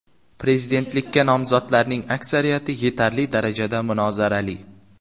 Prezidentlikka nomzodlarning aksariyati yetarli darajada munozarali.